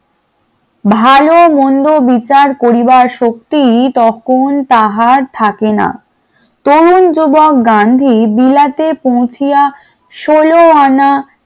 ভালো-মন্দ বিচার করিবার শক্তি তখন তাহার থাকে না, তরুণ যুবক গান্ধী বিলাতে পৌছিয়া ষোল আনা